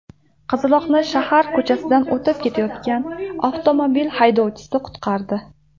Qizaloqni shahar ko‘chasidan o‘tib ketayotgan avtomobil haydovchisi qutqardi.